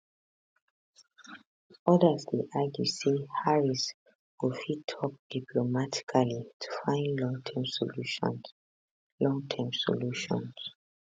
odas dey argue say harris go fit tok diplomatically to find longterm solutions longterm solutions